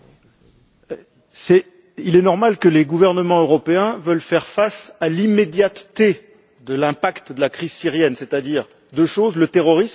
Il est normal que les gouvernements européens veuillent faire face à l'immédiateté de l'impact de la crise syrienne, c'est à dire à deux choses le terrorisme et les réfugiés.